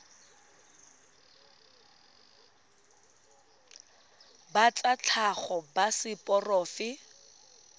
ba tsa tlhago ba seporofe